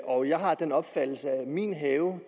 og jeg har den opfattelse at min have